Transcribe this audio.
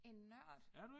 En nørd?